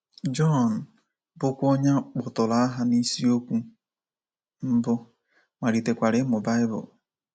John, bụ́kwa onye a kpọtụrụ aha n’isiokwu mbụ, malitekwara ịmụ Baịbụl.